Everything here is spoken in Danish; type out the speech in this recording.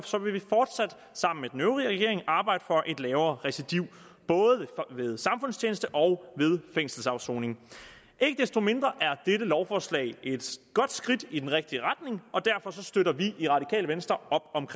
vil vi fortsat sammen med den øvrige regering arbejde for et lavere recidiv både ved samfundstjeneste og ved fængselsafsoning ikke desto mindre er dette lovforslag et godt skridt i den rigtige retning og derfor støtter vi i radikale venstre